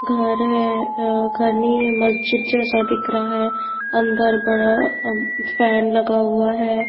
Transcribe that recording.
घर है अअघर नहीं है मस्जिद जैसा दिख रहा है अंदर बड़ा फैन लगा हुआ है।